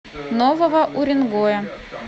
нового уренгоя